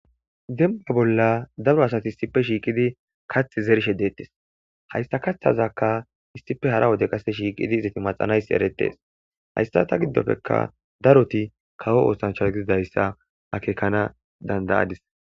demba bolla daro asati isipe shiiqidi kath zershe deettis hayssa kaththazakka issipe hara wode qase shiiqidi izati maxanays eretees hayssa ta giddofekka daroti kawo oosancha gididayssa akekana dandayadis